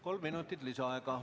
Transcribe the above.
Kolm minutit lisaaega.